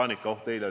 Tänan, hea esimees!